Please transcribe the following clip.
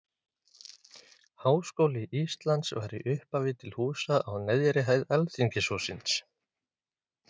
háskóli íslands var í upphafi til húsa á neðri hæð alþingishússins